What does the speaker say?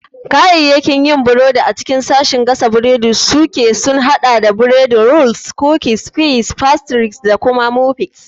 Kayayyakin yin burodi a cikin sashin gasa burodi suke sun haɗa da bread, rolls, cookies, pies, pastries, da muffins.